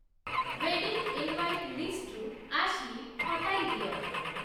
wedding invite ଲିଷ୍ଟ୍‌ରୁ Ashley ହଟାଇ ଦିଅ